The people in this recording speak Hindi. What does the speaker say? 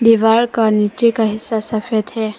दीवार का नीचे का हिस्सा सफेद है।